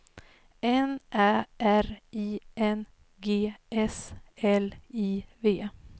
N Ä R I N G S L I V